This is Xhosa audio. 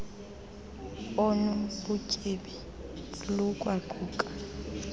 onu butyebi lukwaquka